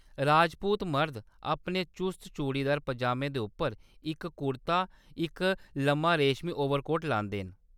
राजपूत मड़द अपने चुस्त चूड़ीदार पजामे दे उप्पर इक कुर्ता ते इक लम्मा रेशमी ओवरकोट लांदे न।